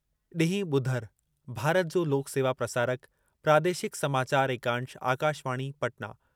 ॾींहुं ॿुधरु (भारत जो लोक सेवा प्रसारक) प्रादेशिक समाचार एकांश आकाशवाणी, पटना